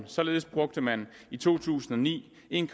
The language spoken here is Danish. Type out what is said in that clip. således brugte man i to tusind og ni en